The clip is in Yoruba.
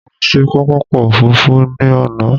Mo lọ sí pápákọ̀ òfurufú ní àná.